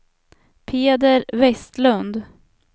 Peder Vestlund